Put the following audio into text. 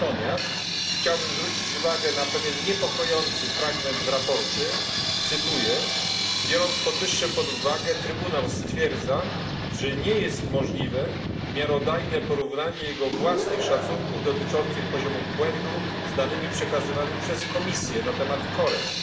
Natomiast chciałbym zwrócić uwagę na pewien niepokojący fragment w raporcie cytuję biorąc powyższe pod uwagę, Trybunał stwierdza, że nie jest możliwe miarodajne porównanie jego własnych szacunków dotyczących poziomów błędu z danymi przekazywanymi przez Komisję na temat korekt.